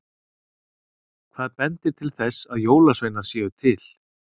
Hvað bendir til þess að jólasveinar séu til?